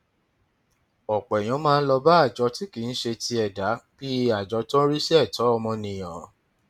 ọpọ èèyàn máa ń lọ bá àjọ tí kì í ṣe ti ẹdá bíi àjọ tó ń rí sí ẹtọ ọmọnìyàn